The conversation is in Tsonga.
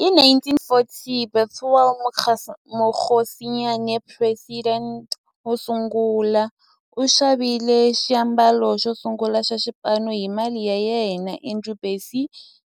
Hi 1940, Bethuel Mokgosinyane, president wosungula, u xavile xiambalo xosungula xa xipano hi mali ya yena. Andrew Bassie,